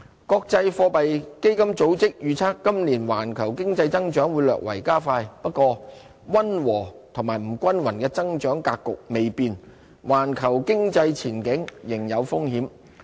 國際貨幣基金組織預測今年環球經濟增長會略為加快。不過，溫和及不均勻的增長格局未變，環球經濟前景仍有風險。